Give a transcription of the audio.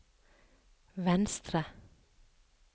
venstre